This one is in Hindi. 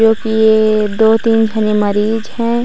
जो कि दो तीन झने मरीज है।